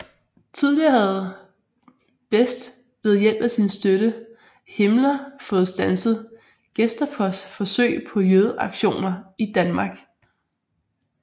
Tidligere havde Best ved hjælp af sin støtte Himmler fået standset Gestapos forsøg på jødeaktioner i Danmark